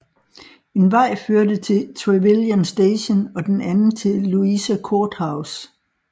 En vej førte til Trevilian Station og den anden til Louisa Court House